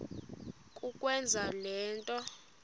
kukwenza le nto